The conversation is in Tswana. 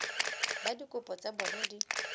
ba dikopo tsa bona di